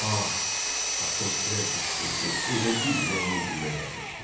Ah, Atos elə qışqırdı, elə bil ürəyinə güllə dəymişdi.